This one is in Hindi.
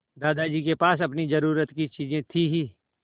दादाजी के पास अपनी ज़रूरत की चीजें थी हीं